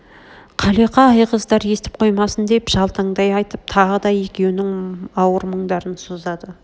қалиқа айғыздар естіп қоймасын деп жалтаңдай айтып тағы да екеунің ауыр мұңдарын созады